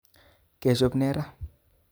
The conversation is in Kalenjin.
kechop ne raa